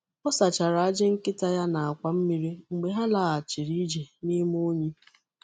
Ọ sachara ajị nkịta ya na akwa mmiri mgbe ha laghachiri ije n'ime unyi.